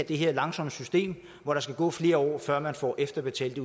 det her langsomme system hvor der skal gå flere år før man får efterbetalt